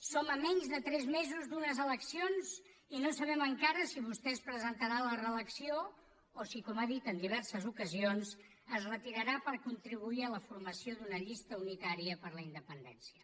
som a menys de tres mesos d’unes eleccions i no sabem encara si vostè es presentarà a la reelecció o si com ha dit en diverses ocasions es retirarà per contribuir a la formació d’una llista unitària per la independència